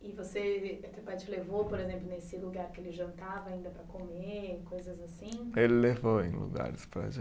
E você, teu pai te levou, por exemplo, nesse lugar que ele jantava ainda para comer e coisas assim? Ele levou em lugares para